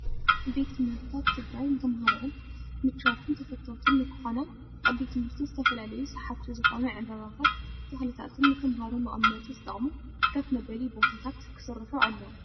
ቤት ትምህርትታት ትግራይ ንተምሃሮኣን ምችዋትን ተፈተውትን ንክኾና ኣብቲ ቤት ትምህርቲ ዝተፈላለዩ ሰሓብቲ ዝኾኑ ዕምበባታት፣ ተኽልታትን ንተምሃሮ መቀመጢ ዝጠቅሙ ከፍ መበሊ ቦታታት ክስራሑ ኣለዎም።